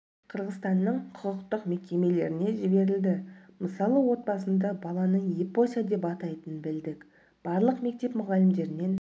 мен қырғызстанның құқықтық мекемелеріне жіберілді мысалы отбасында баланы епося деп атайтынын білдік барлық мектеп мұғалімдерінен